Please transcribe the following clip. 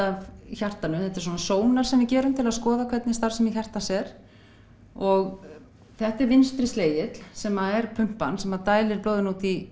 af hjartanu þetta er svona sónar sem við gerum til að skoða hvernig starfsemi hjartans er og þetta er vinstri sem er pumpan sem dælir blóðinu út í